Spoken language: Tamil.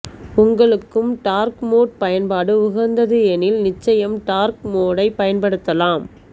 உங்களுக்கும் டார்க் மோட் பயன்பாடு உகந்தது எனில் நிச்சயம் டார்க் மோடைப் பயன்படுத்தலாம்